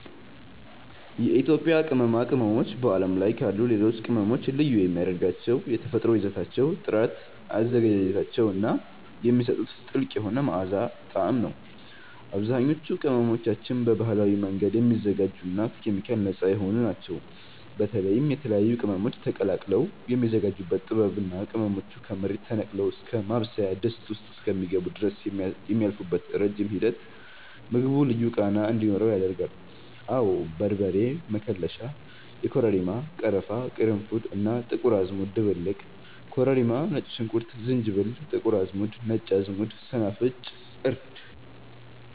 የኢትዮጵያ ቅመማ ቅመሞች በዓለም ላይ ካሉ ሌሎች ቅመሞች ልዩ የሚያደርጋቸው የተፈጥሮአዊ ይዘታቸው ጥራት፣ አዘገጃጀታቸው እና የሚሰጡት ጥልቅ የሆነ መዓዛና ጣዕም ነው። አብዛኞቹ ቅመሞቻችን በባህላዊ መንገድ የሚዘጋጁና ከኬሚካል ነፃ የሆኑ ናቸው። በተለይም የተለያዩ ቅመሞች ተቀላቅለው የሚዘጋጁበት ጥበብ እና ቅመሞቹ ከመሬት ተነቅለው እስከ ማብሰያ ድስት ውስጥ እስኪገቡ ድረስ የሚያልፉበት ረጅም ሂደት ምግቡ ልዩ ቃና እንዲኖረው ያደርጋል። አወ በርበሬ መከለሻ (የኮረሪማ፣ ቀረፋ፣ ቅርንፉድ እና ጥቁር አዝሙድ ድብልቅ) ኮረሪማ ነጭ ሽንኩርት ዝንጅብል ጥቁር አዝሙድ ነጭ አዝሙድ ሰናፍጭ እርድ